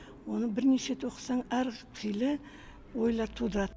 оны бірнеше рет оқысаң әр қилы ойлар тудырады